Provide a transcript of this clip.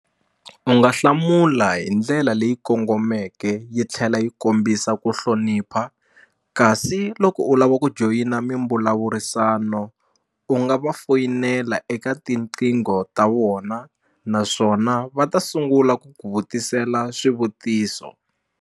U nga hlamula hi ndlela leyi kongomeke yi tlhela yi kombisa ku hlonipha kasi loko u lava ku joyina mimbulavurisano u nga va foyinela eka tinqingho ta vona naswona va ta sungula ku ku vutisela swivutiso.